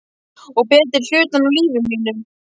Og betri hlutann af lífi mínu.